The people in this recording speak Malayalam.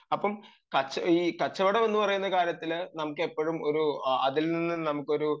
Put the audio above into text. അപ്പം ഈ കച്ചവടം എന്ന് പറയുന്ന കാര്യത്തില് നമുക്ക് എപ്പോഴും ഒരു അതിൽനിന്ന് നമുക്ക് ഒരു